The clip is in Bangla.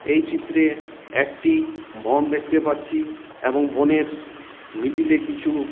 এই চিত্রে একটি বন দেখতে পাচ্ছি এবং বনের মিডিল এ কিছু--